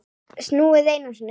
Snúið einu sinni.